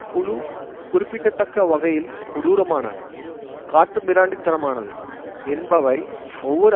குழு குறிப்பிட்டத்தக்க வகையில் கொடூரமானது காட்டுமிராண்டித்தனமானது என்பவை ஒவ்வொரு